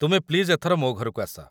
ତୁମେ ପ୍ଲିଜ୍ ଏଥର ମୋ ଘରକୁ ଆସ ।